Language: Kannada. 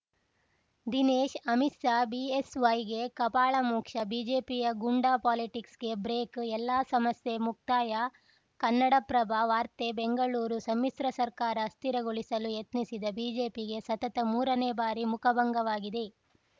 ದಿನೇಶ್‌ ಅಮಿತ್‌ ಶಾ ಬಿಎಸ್‌ವೈಗೆ ಕಪಾಳಮೋಕ್ಷ ಬಿಜೆಪಿಯ ಗೂಂಡಾ ಪಾಲಿಟಿಕ್ಸ್‌ಗೆ ಬ್ರೇಕ್‌ ಎಲ್ಲಾ ಸಮಸ್ಯೆ ಮುಕ್ತಾಯ ಕನ್ನಡಪ್ರಭ ವಾರ್ತೆ ಬೆಂಗಳೂರು ಸಮ್ಮಿಶ್ರ ಸರ್ಕಾರ ಅಸ್ಥಿರಗೊಳಿಸಲು ಯತ್ನಿಸಿದ ಬಿಜೆಪಿಗೆ ಸತತ ಮೂರನೇ ಬಾರಿ ಮುಖಭಂಗವಾಗಿದೆ